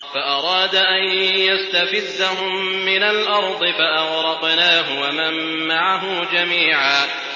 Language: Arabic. فَأَرَادَ أَن يَسْتَفِزَّهُم مِّنَ الْأَرْضِ فَأَغْرَقْنَاهُ وَمَن مَّعَهُ جَمِيعًا